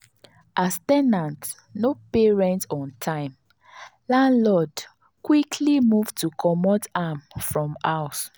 as ten ant no pay rent on time landlord quickly start move to comot am from house.